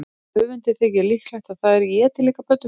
Höfundi þykir líklegt að þær éti líka pöddur.